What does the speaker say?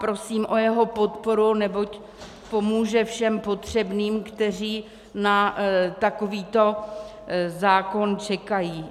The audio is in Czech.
Prosím o jeho podporu, neboť pomůže všem potřebným, kteří na takovýto zákon čekají.